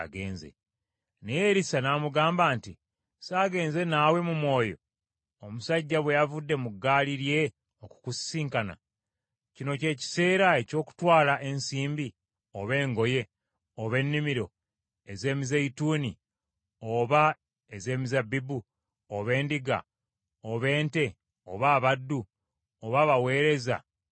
Naye Erisa n’amugamba nti, “Ssaagenze naawe mu mwoyo, omusajja bwe yavudde mu ggaali lye okukusisinkana? Kino ky’ekiseera eky’okutwala ensimbi, oba engoye, oba ennimiro ez’emizeeyituuni, oba ez’emizabbibu, oba endiga, oba ente, oba abaddu, oba abaweereza abawala?